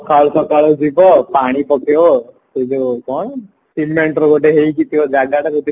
ସକାଳୁ ସକାଳୁ ଯିବ ପାଣି ପକେଇବା ସେଇ ଯୋଉ କଣ cementର ଗୋଟେ ହେଇକି ଥିବା ଜାଗାଟା ଯଦି